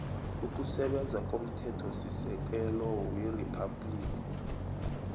ukusebenza komthethosisekelo weriphabhligi